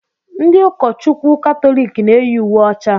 Ndị ụka Chukwu Katọlik na eyi uwe ọcha.